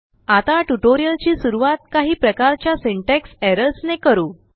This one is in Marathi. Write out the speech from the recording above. आताटयूटोरिअलची सुरुवात काही प्रकारच्याsyntax errorsनेकरु